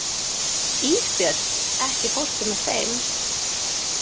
Ísbjörn, ekki fórstu með þeim?